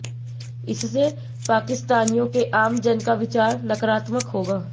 इससे पाकिस्तानियों के आम जन का विचार नकारात्मक होगा